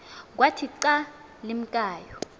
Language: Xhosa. kwathi xa limkayo